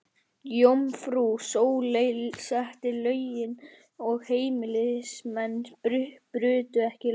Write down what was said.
Jómfrú Sóley setti lögin og heimilismenn brutu ekki lögin.